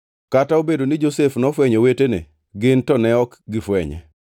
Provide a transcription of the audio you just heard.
Kata obedo ni Josef nofwenyo owetene, gin to ne ok gifwenye.